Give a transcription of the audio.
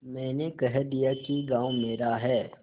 मैंने कह दिया कि गॉँव मेरा है